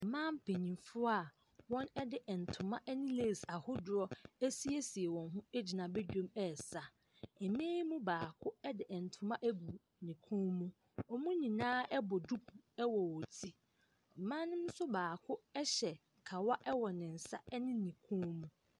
Mmaa mpanimfoɔ a wɔde ntoma ne lace ahodoɔ asiesie wɔn gyina badwam resa. Mmaa yi mu baako de ntoma agu ne kɔn mu. Wɔn nyinaa bɔ diku wɔ wɔn ti. Mmaa no nso baa hyɛ kawa wɔ ne nsa ne ne kɔn mu.